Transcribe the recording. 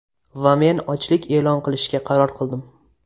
Va men ochlik e’lon qilishga qaror qildim.